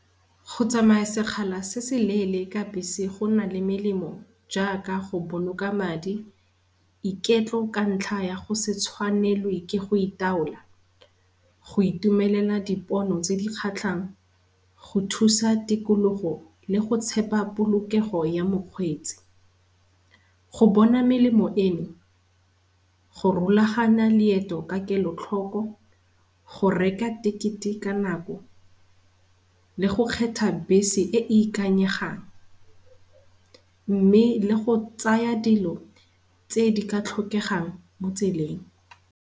Go tsamaya sekgala se se leele ka bese gona le melemo jaaka go boloka madi, iketlo ka ntlha ya go setshwanelwe ke go itaola, go itumelela dipono tse di kgatlhang, go thusa tikologo le go tshepa polokego ya mokgweetsi. Go bona melemo eno, go rulagana leeto ka kelotlhogo, go reka tekete ka nako le go kgetha bese e e ikanyegang mme le go tsaya dilo tse di ka tlhokegang mo tseleng.